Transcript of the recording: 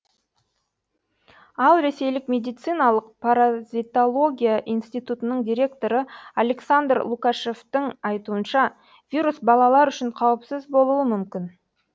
ал ресейлік медициналық паразитология институтының директоры александр лукашевтің айтуынша вирус балалар үшін қауіпсіз болуы мүмкін